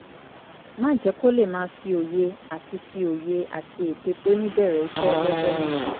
má jẹ́ kó lè máa fi òye àti fi òye àti ète tó ní bẹ̀rẹ̀ iṣẹ́ lọ́jọ́ náà